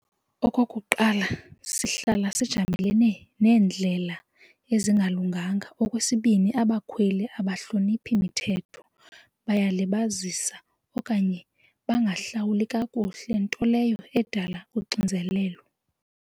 Okokuqala, sihlala sijamelene neendlela ezingalunganga. Okwesibini, abakhweli ababahloniphi mithetho bayalibazisa okanye bangahlawuli kakuhle nto leyo edala uxinzelelo.